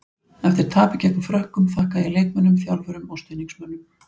Eftir tapið gegn Frökkum, þakkaði ég leikmönnum, þjálfurum og stuðningsmönnunum.